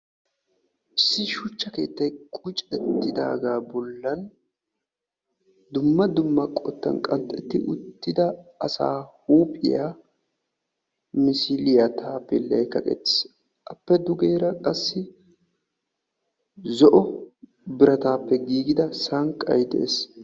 issi shuchcha keettay de"iyaga bolani dumma dumma hanottani qanxettida binaana qanxxiyo hillay misiliyani kaqeti uttage beettesi xade bagarakka zo"o qalamiyani tiyettida penge beettessi.